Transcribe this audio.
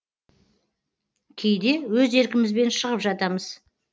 кейде өз еркімізбен шығып жатамыз